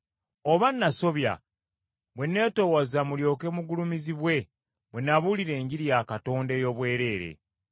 Oba nasobya bwe netoowaza mulyoke mugulumizibwe, bwe nabuulira Enjiri ya Katonda ey’obwereere?